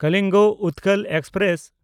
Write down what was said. Kalinga Utkal express